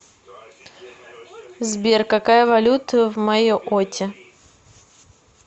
сбер какая валюта в майотте